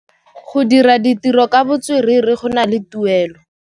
Go dira ditirô ka botswerere go na le tuelô.